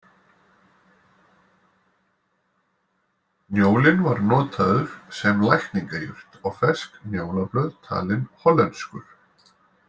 Njólinn var notaður sem lækningajurt og fersk njólablöð talin hollenskur